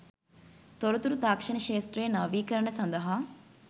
තොරතුරු තාක්ෂණ ක්ෂේත්‍රයේ නවීකරණ සඳහා